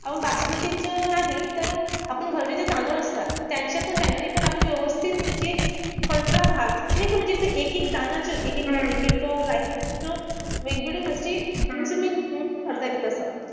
आपण बासमतीच नाही तर आपण घरचे जे तांदूळ असतात. त्यांचं पण त्यांनी पण आपण व्यवस्थित म्हणजे खडखडा भात नाई म्हणजे एकेक दाना एकेक rice करता येते असं.